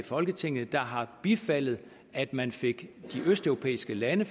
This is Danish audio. i folketinget der har bifaldet at man fik de østeuropæiske lande